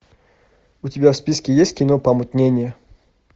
у тебя в списке есть кино помутнение